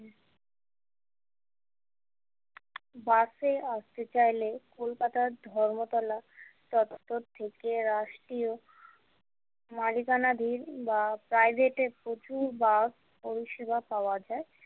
বাসে আসতে চাইলে কলকাতার ধর্মতলা চত্তর থেকে রাষ্ট্রীয় মাঝগানা দিয়ে বা private এ প্রচুর বাস পরিসেবা পাওয়া যায়।